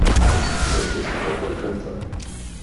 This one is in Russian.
у тебя есть прямой контакт